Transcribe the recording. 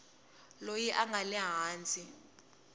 loyi a nga le hansi